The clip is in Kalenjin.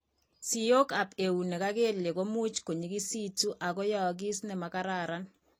Siokab eunek ak kelyek ko much ko nyikisitu ak koyaakis ne mo kararan.